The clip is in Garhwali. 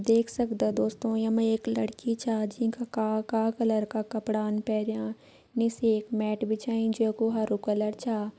देख सक्दा दोस्तों यमा एक लड़की छा जीं का काला काला कलर का कपड़ान पैरयां निस एक मैट बिछाईं जै कू हरु कलर छा।